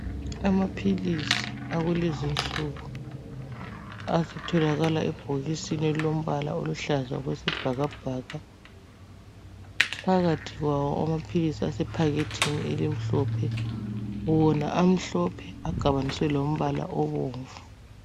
Amaphilisi akulezinsuku asetholakala ebhokisini elilombala oluhlaza okwesibhakabhaka. Phakathi kwawo amaphilisi asephakethini elimhlophe, wona amhlophe agabaniswe lombala obomvu.